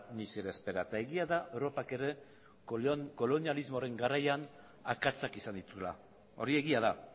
ni se le espera eta egia da europak ere kolonialismoaren garaiak akatsak izan dituela hori egia da